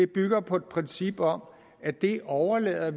bygger på et princip om at vi overlader